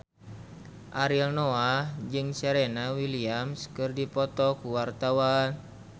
Ariel Noah jeung Serena Williams keur dipoto ku wartawan